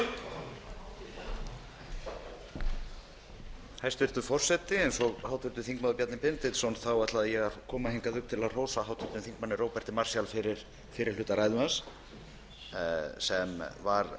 hæstvirtur forseti ég ætlaði eins og háttvirtur þingmaður bjarni benediktsson að koma hingað upp til að hrósa háttvirtum þingmanni róberti marshall fyrir fyrri hluta ræðu hans það var